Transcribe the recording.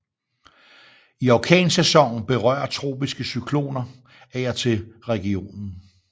I orkansæsonen berører tropiske cykloner af og til regionen